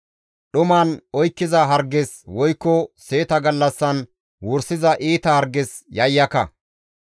dhuman oykkiza harges, woykko seeta gallassan wursiza iita harges yayyaka.